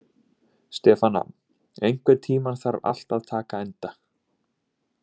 Stefana, einhvern tímann þarf allt að taka enda.